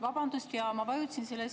Vabandust!